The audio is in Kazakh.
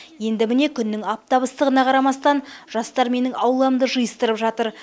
енді міне күннің аптап ыстығына қарамастан жастар менің ауламды жиыстырып жатыр